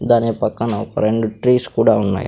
దాని పక్కన ఒక రెండు ట్రీస్ కూడా ఉన్నాయ్.